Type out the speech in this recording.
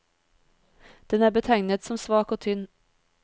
Den er betegnet som svak og tynn.